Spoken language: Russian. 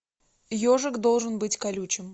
ежик должен быть колючим